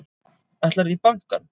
Ætlarðu í bankann?